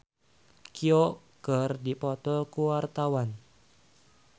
Nowela jeung Song Hye Kyo keur dipoto ku wartawan